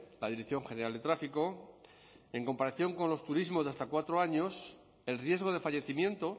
la dirección general de tráfico en comparación con los turismos de hasta cuatro años el riesgo de fallecimiento